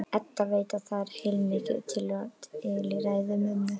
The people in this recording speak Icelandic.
Edda veit að það er heilmikið til í ræðu mömmu.